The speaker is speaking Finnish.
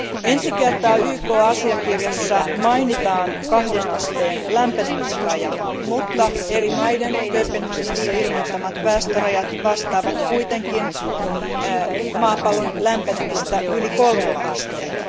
Ensi kertaa YK asiakirjassa mainitaan kahden asteen lämpenemisraja, mutta eri maiden Kööpenhaminassa ilmoittamat päästörajat vastaavat kuitenkin maapallon lämpenemistä yli kolmella asteella.